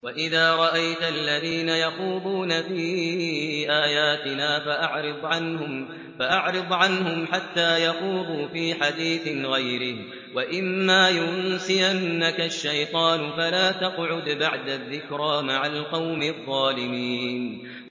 وَإِذَا رَأَيْتَ الَّذِينَ يَخُوضُونَ فِي آيَاتِنَا فَأَعْرِضْ عَنْهُمْ حَتَّىٰ يَخُوضُوا فِي حَدِيثٍ غَيْرِهِ ۚ وَإِمَّا يُنسِيَنَّكَ الشَّيْطَانُ فَلَا تَقْعُدْ بَعْدَ الذِّكْرَىٰ مَعَ الْقَوْمِ الظَّالِمِينَ